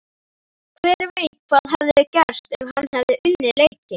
Hver veit hvað hefði gerst ef hann hefði unnið leikinn?